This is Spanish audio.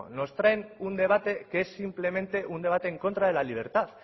nos traen un debate que es simplemente un debate en contra de la libertad